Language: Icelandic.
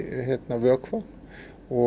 vökva og